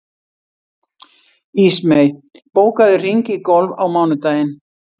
Ísmey, bókaðu hring í golf á mánudaginn.